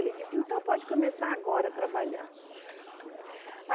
Ele disse, então pode começar agora a trabalhar.